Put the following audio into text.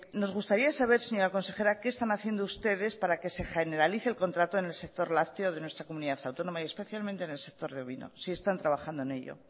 nos gustaría saber señora consejera qué están haciendo ustedes para que se generalice el contrato en el sector lácteo de nuestra comunidad autónoma y especialmente en el sector ovino si están trabajando en ello